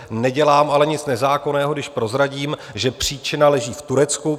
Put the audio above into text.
Nedělám ale nic nezákonného, když prozradím, že příčina leží v Turecku.